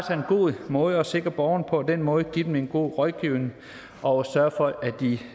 er en god måde at sikre borgeren på den måde give dem en god rådgivning og sørge for at de